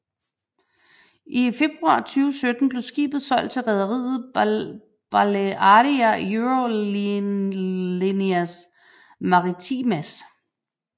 I februar 2017 blev skibet solgt til rederiet BaleàriaEurolineas Maritimas